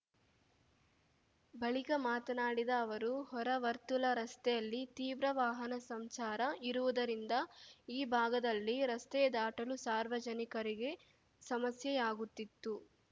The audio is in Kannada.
ಬಳಿಕ ಮಾತನಾಡಿದ ಅವರು ಹೊರ ವರ್ತುಲ ರಸ್ತೆಯಲ್ಲಿ ತೀವ್ರ ವಾಹನ ಸಂಚಾರ ಇರುವುದರಿಂದ ಈ ಭಾಗದಲ್ಲಿ ರಸ್ತೆ ದಾಟಲು ಸಾರ್ವಜನಿಕರಿಗೆ ಸಮಸ್ಯೆಯಾಗುತ್ತಿತ್ತು